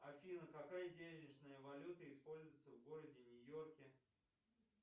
афина какая денежная валюта используется в городе нью йорке